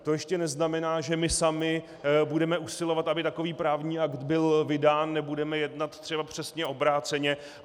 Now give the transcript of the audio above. To ještě neznamená, že my sami budeme usilovat, aby takový právní akt byl vydán, nebudeme jednat třeba přesně obráceně.